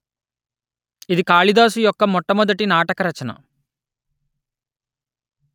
ఇది కాళిదాసు యొక్క మొట్టమొదటి నాటక రచన